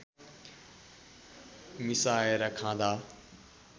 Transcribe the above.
मिसाएर खाँदा